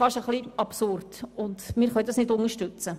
Das können wir nicht unterstützen.